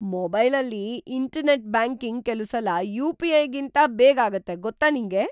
ಮೊಬೈಲಲ್ಲಿ internet banking ಕೆಲುಸಲ ಯು.ಪಿ.ಐ.ಗಿಂತ ಬೇಗ ಆಗತ್ತೆ, ಗೊತ್ತಾ ನಿಂಗೆ?